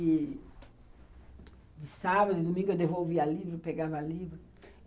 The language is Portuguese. E de sábado e domingo eu devolvia livro, pegava livro.